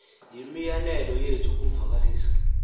yimianelo yethu ukumvakalisa